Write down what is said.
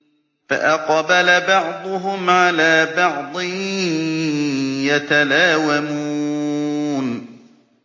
فَأَقْبَلَ بَعْضُهُمْ عَلَىٰ بَعْضٍ يَتَلَاوَمُونَ